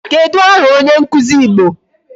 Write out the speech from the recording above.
Kedụ aha onye nkụzi Igbo?